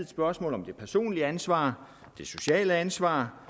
spørgsmål om det personlige ansvar det sociale ansvar